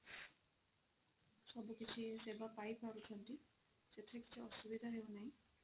ସବୁ କିଛି ସେବା ପାଇ ପାରୁଛନ୍ତି ସେଥିରେ କିଛି ଅସୁବିଧା ହେଉ ନାହିଁ